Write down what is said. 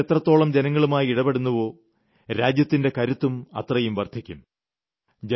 സർക്കാരുകൾ എത്രത്തോളം ജനങ്ങളുമായി ഇടപെടുന്നുവോ രാജ്യത്തിന്റെ കരുത്തും അത്രയും വർദ്ധിക്കും